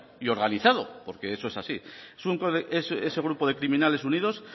y organizado porque eso es así ese grupo de criminales unidos